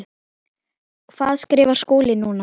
Hvað skrifar Skúli núna?